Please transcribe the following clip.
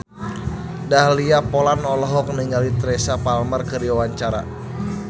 Dahlia Poland olohok ningali Teresa Palmer keur diwawancara